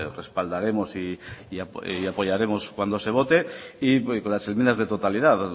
respaldaremos y apoyaremos cuando se vote y con las enmiendas de totalidad